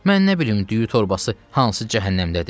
Mən nə bilim düyü torbası hansı cəhənnəmdədir?